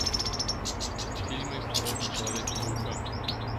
фильмы про человека паука